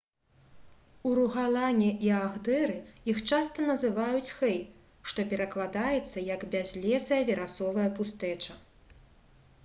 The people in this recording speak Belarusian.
у ругалане і агдэры іх часта называюць «хэй» што перакладаецца як «бязлесая верасовая пустэча»